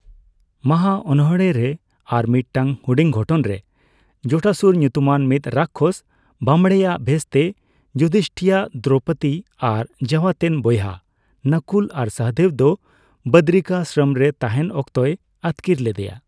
ᱢᱟᱦᱟ ᱚᱱᱚᱲᱦᱮᱸ ᱨᱮ ᱟᱨᱢᱤᱫᱴᱟᱝ ᱦᱩᱰᱤᱧ ᱜᱷᱚᱴᱚᱱ ᱨᱮ, ᱡᱚᱴᱟᱥᱩᱨ ᱧᱩᱛᱩᱢᱟᱱ ᱢᱤᱫ ᱨᱟᱠᱠᱷᱚᱥ ᱵᱟᱢᱲᱮᱭᱟᱜ ᱵᱷᱮᱥᱛᱮ ᱡᱩᱫᱷᱤᱥᱴᱤᱭᱟᱜ, ᱫᱨᱳᱯᱚᱫᱤ ᱟᱨ ᱡᱟᱣᱟᱛᱮᱱ ᱵᱚᱭᱦᱟ ᱱᱚᱠᱩᱞ ᱟᱨ ᱥᱚᱦᱚᱫᱮᱵ ᱫᱚ ᱵᱚᱫᱨᱤᱠᱟᱥᱨᱚᱢ ᱨᱮ ᱛᱟᱦᱮᱱ ᱚᱠᱛᱚᱭ ᱟᱹᱛᱠᱤᱨ ᱞᱮᱫᱮᱭᱟ ᱾